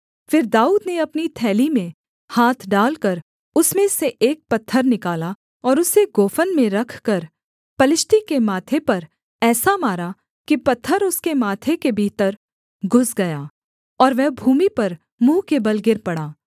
फिर दाऊद ने अपनी थैली में हाथ डालकर उसमें से एक पत्थर निकाला और उसे गोफन में रखकर पलिश्ती के माथे पर ऐसा मारा कि पत्थर उसके माथे के भीतर घुस गया और वह भूमि पर मुँह के बल गिर पड़ा